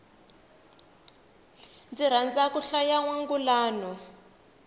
ni rhandza ku hlaya nwangulano